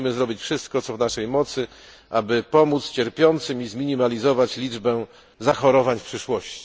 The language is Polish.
Musimy zrobić wszystko, co w naszej mocy, aby pomóc cierpiącym i zminimalizować liczbę zachorowań w przyszłości.